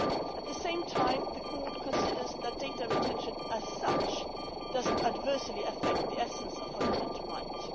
At the same time the Court considers that data retention as such does not adversely affect the essence of fundamental rights.